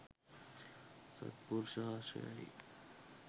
සද්පුරුෂ ආශ්‍රයයි.